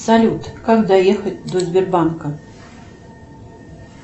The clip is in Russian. салют как доехать до сбербанка